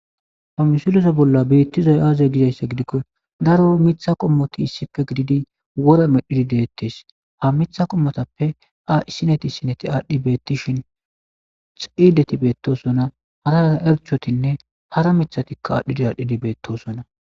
Ha misile bolla betizayisi aze giyaba gidiko daro mitha qomoyi issippe gididi wora medhidi de,etes ha mitha qomotappe isoyi xidati betosona hara hara irxatinne hara mithatika betosona